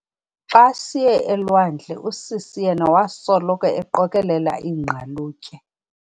Xa siye elwandle usisi yena wasoloko eqokelela iingqalutye.